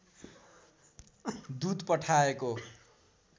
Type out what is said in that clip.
दूत पठाएको